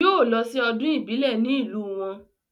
Yóò lọ sí ọdún ìbílẹ̀ ní ìlú wọn